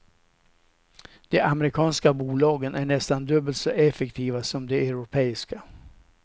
De amerikanska bolagen är nästan dubbelt så effektiva som de europeiska.